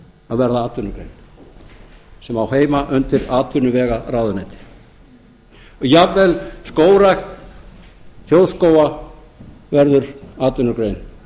að verða atvinnugrein sem á heima undir atvinnuvegaráðuneyti og jafnvel skógrækt þjóðskóga verður atvinnugrein